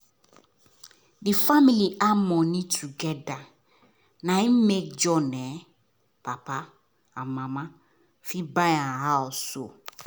the family add money together na make john papa and mama fit buy am house